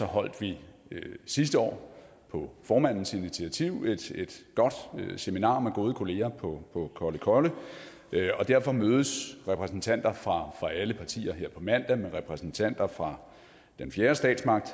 holdt vi sidste år på formandens initiativ et godt seminar med gode kollegaer på kollekolle og derfor mødes repræsentanter fra alle partier her på mandag med repræsentanter fra den fjerde statsmagt